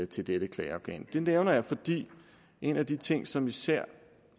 til dette klageorgan det nævner jeg fordi en af de ting som især